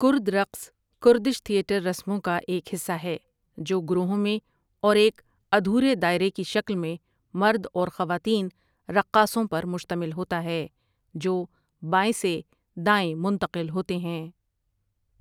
کرد رقص کردش تھیٹر رسموں کا ایک حصہ ہے جو گروہوں میں اور ایک ادھورے دائرے کی شکل میں مرد اور خواتین رقاصوں پر مشتمل ہوتا ہے جو بائیں سے دائیں منتقل ہوتے ہیں ۔